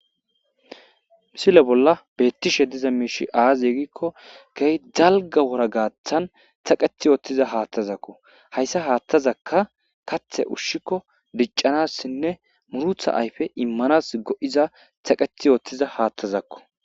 misile bolla beettishe diza miishi aazi yeegikko gey dalga wora gaaththan taqet yoottiza haattazakko hayssa haattazakka kathe ushshikko diccanassinne murutha ayfe immanas go7iza taqet yoottiza haattazakko